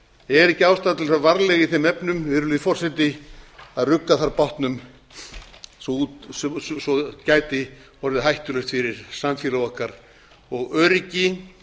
er ekki ástæða til að fara varlega í þeim efnum virðulegi forseti að rugga þá bátnum svo gæti orðið hættulegt fyrir samfélag og öryggi